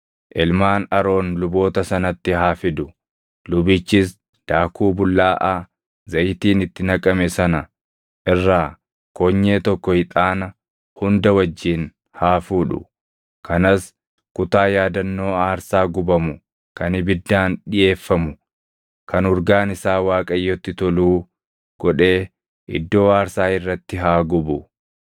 ilmaan Aroon luboota sanatti haa fidu. Lubichis daakuu bullaaʼaa zayitiin itti naqame sana irraa konyee tokko ixaana hunda wajjin haa fuudhu; kanas kutaa yaadannoo aarsaa gubamu kan ibiddaan dhiʼeeffamu kan urgaan isaa Waaqayyotti toluu godhee iddoo aarsaa irratti haa gubu.